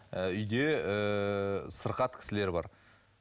үйде ыыы сырқат кісілер бар